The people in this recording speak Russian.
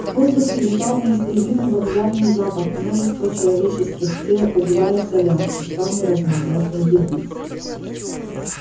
в воздухе витал неистребимый вокзальный запах множества человеческих тел угля и солярки самой разнообразной еды